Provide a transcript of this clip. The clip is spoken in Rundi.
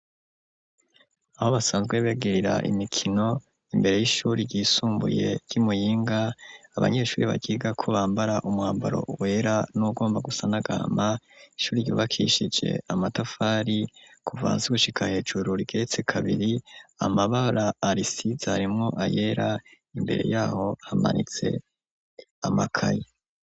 Aho basanzwe begera imikino imbere y'ishuri ryisumbuye ryi Muyinga abanyeshuri baryigako bambara umwambaro wera n'ugomba gusa n’agahama , ishuri ryubakishije amatafari kuva hasi gushika hejuru Rigeretse kabiri amabara arisize harimo ayera imbere yaho hamanitse amakayi.